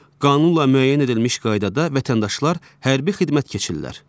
Qanunla müəyyən edilmiş qaydada vətəndaşlar hərbi xidmət keçirlər.